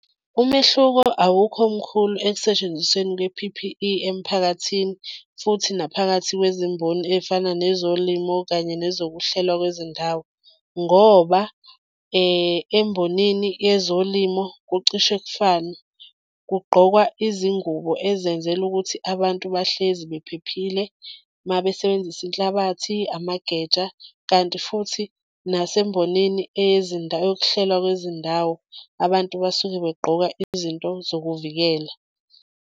Umehluko awukho mkhulu ekusentshenzisweni kwe-P_P_E emphakathini, futhi naphakathi kwezimboni ey'fana nezolimo kanye ngezokuhlela kwezindawo. Ngoba embhonini yezolimo kucishe kufane, kugqokwa izingubo ezenzelwe ukuthi abantu bahlezi bephephile uma besebenzisa inhlabathi, amageja kanti futhi nasemboneni yokuhlelwa kwezindawo abantu basuke begqoka izinto zokuvikela.